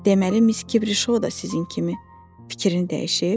Deməli, Miss Kibri Şou da sizin kimi fikrini dəyişib?